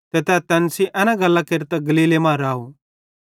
ते तै तैन सेइं एना गल्लां केरतां गलीले मां राव